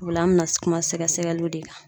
O la an bɛna kuma sɛgɛsɛgɛliw de kan.